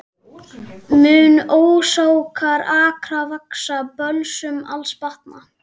Munu ósánir akrar vaxa, böls mun alls batna